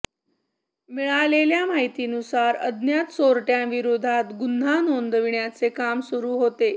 मिळालेल्या माहितीनुसार अज्ञात चोरट्यांविरोधात गुन्हा नोंदविण्याचे काम सुरू होते